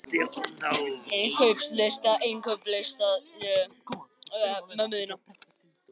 Andreas, hvað er á innkaupalistanum mínum?